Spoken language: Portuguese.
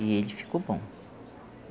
E ele ficou bom.